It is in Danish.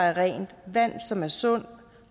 er rent vand som er sundt